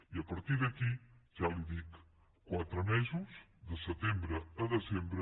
i a partir d’aquí ja li ho dic quatre mesos de setembre a desembre